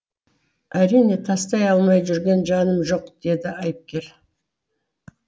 әрине тастай алмай жүрген жаным жоқ деді айыпкер